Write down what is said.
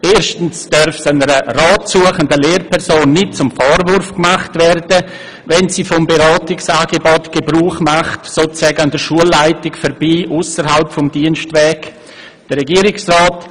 Erstens darf es einer Lehrperson nicht zum Vorwurf gemacht werden, wenn sie vom Beratungsangebot Gebrauch macht und gewissermassen an der Schulleitung vorbei, ausserhalb des Dienstwegs, Rat sucht.